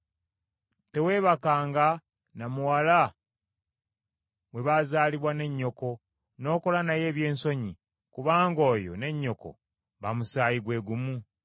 “ ‘Teweebakanga na muwala bwe bazaalibwa ne nnyoko n’okola naye ebyensonyi; kubanga oyo ne nnyoko ba musaayi gwe gumu.